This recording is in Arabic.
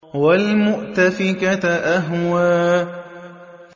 وَالْمُؤْتَفِكَةَ أَهْوَىٰ